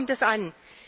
Darauf kommt es an.